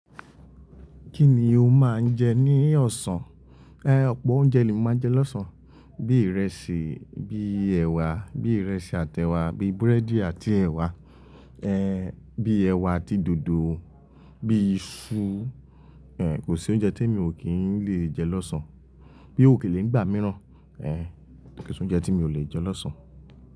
Kí ni o máa ń jẹ ní ọ̀sán? Eh, ọ̀pọ̀ oúnjẹ ni mo máa ń jẹ lọ́sàn-án, bíi ìrẹsì, bíi ẹ̀wà, bíi ìrẹsì àti ẹ̀wà, bíi búrẹ́dì àti ẹ̀wà, eh bíi ẹ̀wà àti dòdò, bíi iṣu, eh kò sí oúnjẹ tí mi ò kí lè jẹ lọ́sàn-án. Bí ókélé nígbà mìíràn, eh kò sí oúnjẹ tí mi ò lè jẹ lọ́sàn-án.